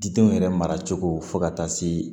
Didenw yɛrɛ mara cogo fo ka taa se